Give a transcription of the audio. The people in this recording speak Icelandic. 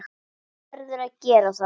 Þú verður að gera það.